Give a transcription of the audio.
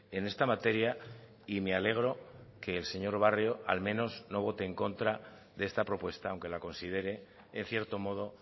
en esta materia y me alegro que el señor barrio al menos no vote en contra de esta propuesta aunque la considere en cierto modo